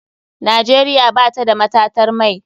Nigeria batada matatar mai.